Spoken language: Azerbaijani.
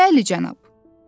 Bəli, cənab.